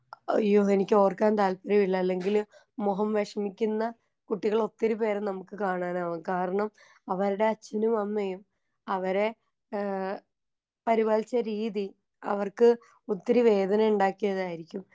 അയ്യോ എനിക്കോർക്കാൻ താൽപ്പര്യമില്ല അല്ലെങ്കില് മുഖം വെഷമിക്കുന്ന കുട്ടികളൊത്തിരി പേരെ നമുക്ക് കാണാനാകും കാരണം അവർടെ അച്ഛനും അമ്മയും അവരെ ഏ പരിപാലിച്ച രീതി അവർക്ക് ഒത്തിരി വേദനയുണ്ടാക്കിയതായിരിക്കും.